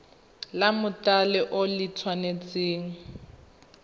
la mothale o le tshwanetse